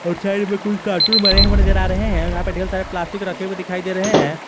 और साइड में कुछ कार्टून बने हुए नजर आ रहे हैं यहां पर ढेर सारे प्लास्टिक रखे हुए दिखाई दे रहे हैं।